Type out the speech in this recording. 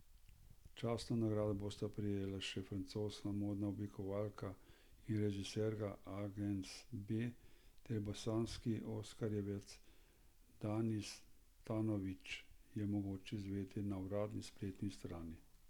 Častno nagrado bosta prejela še francoska modna oblikovalka in režiserka Agnes B ter bosanski oskarjevec Danis Tanović, je mogoče izvedeti na uradni spletni strani.